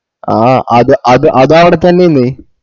ആ അത് അത് അതാടവത്തെന്നെന്